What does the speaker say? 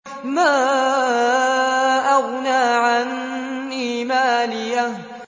مَا أَغْنَىٰ عَنِّي مَالِيَهْ ۜ